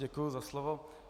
Děkuji za slovo.